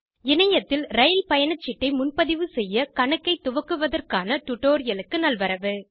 இணையத்தில் ரயில் பயணச்சீட்டை முன்பதிவு செய்ய கணக்கை துவக்குவதற்கான டுடோரியலுக்கு நல்வரவு